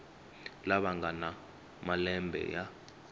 lava nga na malembe ya